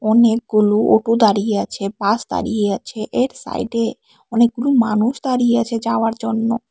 অনেকগুলো ওটো দাঁড়িয়ে আছে বাস দাঁড়িয়ে আছে এর সাইডে অনেকগুলো মানুষ দাঁড়িয়ে আছে যাওয়ার জন্য।